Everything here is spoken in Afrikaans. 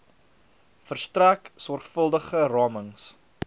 verstrek sorgvuldige ramings